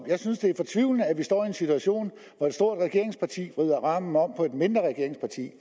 jeg synes det er fortvivlende at vi står i en situation hvor et stort regeringsparti vrider armen om på et mindre regeringsparti